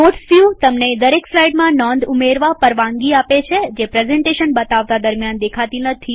notes view તમને દરેક સ્લાઈડમાં નોંધ ઉમેરવા પરવાનગી આપે છે જે પ્રેઝન્ટેશન બતાવતા દરમ્યાન દેખાતી નથી